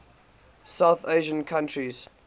south asian countries